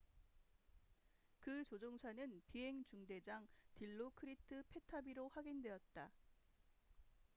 그 조종사는 비행 중대장 딜로크리트 패타비로 확인되었다